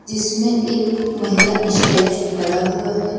जिसमें एक महिला स्टैचू खड़ा हुआ है।